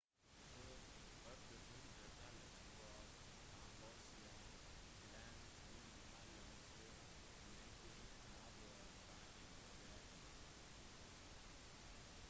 på 1800-tallet var kambodsja klemt innimellom 2 mektige naboer thailand og vietnam